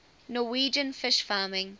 norwegian fish farming